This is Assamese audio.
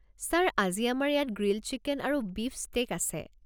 ছাৰ, আজি আমাৰ ইয়াত গ্ৰিল্ড চিকেন আৰু বীফ ষ্টেক আছে।